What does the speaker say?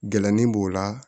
Gɛlɛnni b'o la